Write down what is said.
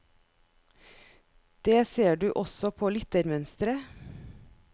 Det ser du også på lyttermønsteret.